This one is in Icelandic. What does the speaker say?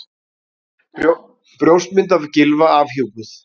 Brjóstmynd af Gylfa afhjúpuð